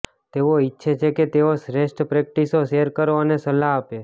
તેઓ ઇચ્છે છે કે તેઓ શ્રેષ્ઠ પ્રેક્ટિસો શેર કરો અને સલાહ આપે